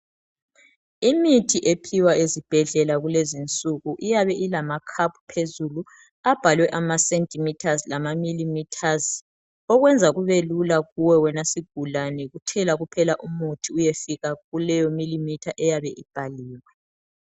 Imithi ephiwa ezibhedlela kulezinsuku iyabe i lama cup phezulu abhalwe ama centimetres lama millimeters okwenza kubelula kuwe wena sigulane yikuthela kuphela umuthi uyefika kuleyo millimeter eyabe ibhaliwe